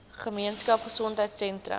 gemeenskap gesondheidsentrum ggs